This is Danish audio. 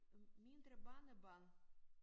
Mindre barnebarn